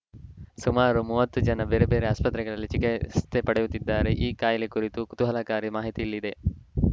ಸುಮಾರು ಮೂವತ್ತು ಜನ ಬೇರೆ ಬೇರೆ ಆಸ್ಪತ್ರೆಗಳಲ್ಲಿ ಚಿಕಿ ತ್ಸೆ ಪಡೆಯುತ್ತಿದ್ದಾರೆ ಈ ಕಾಯಿಲೆ ಕುರಿತ ಕುತೂಹಲಕಾರಿ ಮಾಹಿತಿ ಇಲ್ಲದೆ